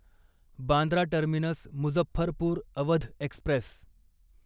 Bandra terminus Muzaffarpur Awadh Express